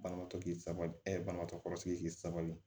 Banabaatɔ k'i sago banabaatɔ kɔrɔ sigi k'i sabali